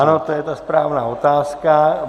Ano, to je ta správná otázka.